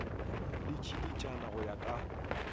le tšiditšana go ya ka